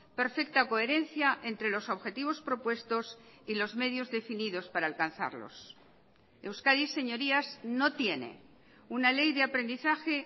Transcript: perfecta coherencia entre los objetivos propuestos y los medios definidos para alcanzarlos euskadi señorías no tiene una ley de aprendizaje